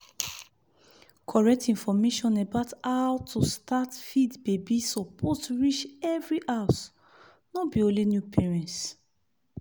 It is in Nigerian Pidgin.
correct information about how to start feed baby suppose reach every house no be only new parents